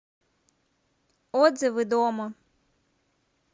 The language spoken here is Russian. отзывы домо